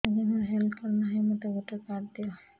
ଆଜ୍ଞା ମୋର health card ନାହିଁ ମୋତେ ଗୋଟେ କାର୍ଡ ଦିଅ